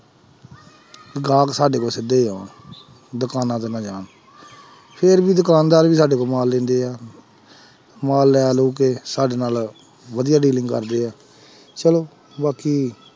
ਗਾਹਕ ਸਾਡੇ ਕੋਲ ਸਿੱਧੇ ਆਉਣ ਦੁਕਾਨਾਂ ਤੇ ਨਾ ਜਾਣ ਫਿਰ ਵੀ ਦੁਕਾਨਦਾਰ ਵੀ ਸਾਡੇ ਤੋਂ ਮਾਲ ਲੈਂਦੇ ਹੈ ਮਾਲ ਲੈ ਲੂ ਕੇ ਸਾਡੇ ਨਾਲ ਵਧੀਆ dealing ਕਰਦੇ ਹੈ ਚਲੋ ਬਾਕੀ